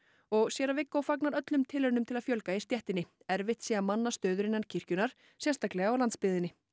og séra Viggó fagnar öllum tilraunum til að fjölga í stéttinni erfitt sé að manna stöður innan kirkjunnar sérstaklega á landsbyggðinni